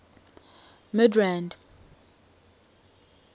midrand